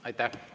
Aitäh!